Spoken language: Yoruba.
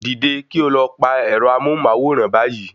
Dìde kí o lọ pa ẹ̀rọ amóhùnmáwòrán báyìí